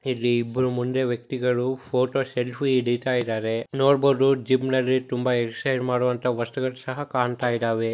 ಇಲ್ಲಿ ಇಬ್ರು ಮುಂದೆ ವ್ಯಕ್ತಿಗಳು ಫೋಟೋ ಸೆಲ್ಫಿ ಇಡಿತಯಿದಾರೆ ನೋಡ್ಬೋದು ಜಿಮ್ ನಲ್ಲಿ ತುಂಬಾ ಎಕ್ಸರ್ಸೈಜ್ ಮಾಡುವಂತಹ ವಸ್ತುಗಳು ಸಹ ಕಾಣ್ತಾ ಇದಾವೆ.